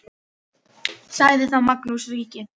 Sagði þá Magnús ríki: